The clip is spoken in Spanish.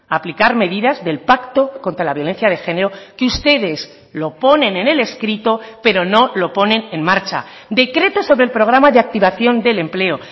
aplicar medidas del pacto contra la violencia de género que ustedes lo ponen en el escrito pero no lo ponen en marcha decreto sobre el programa de activación del empleo